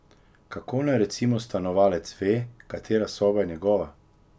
Kako naj recimo stanovalec ve, katera soba je njegova?